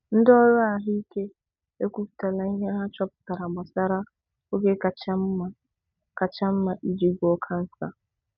Ndị ọrụ ahụike ekwupụtala ihe ha chọpụtara gbasara oge kacha mma kacha mma iji gwọọ kansa.